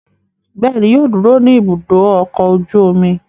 Bẹ́ẹ̀ ni, yóò dúró ní Ibùdó-ọkọ̀ ojú-omi.